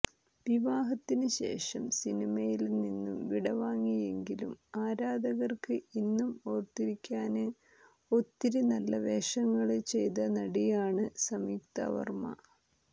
വിവാഹത്തിന് ശേഷം സിനിമയില് നിന്ന് വിടവാങ്ങിയെങ്കിലും ആരാധകര്ക്ക് ഇന്നും ഓര്ത്തിരിക്കാന് ഒത്തിരി നല്ല വേഷങ്ങള് ചെയ്ത നടിയാണ് സംയുക്താവര്മ്മ